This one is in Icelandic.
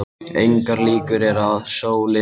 Engar líkur eru á að sólin geti horfið skyndilega.